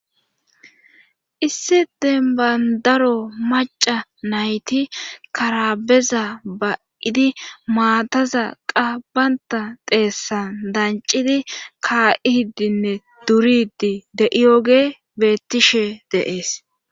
Issi denbandaro maca nayti karabeza ba7idi maataza qabanta deessan dancidi kaa7i hiddinne duridi de7iyoge bettishe dees.